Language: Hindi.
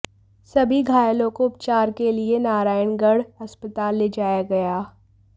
सभी घायलों को उपचार के लिए नारायणगढ़ अस्पताल ले जाया गया